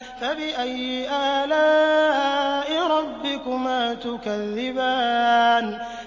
فَبِأَيِّ آلَاءِ رَبِّكُمَا تُكَذِّبَانِ